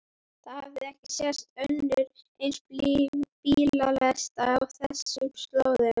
Það hafði ekki sést önnur eins bílalest á þessum slóðum.